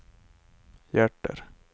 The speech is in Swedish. hjärter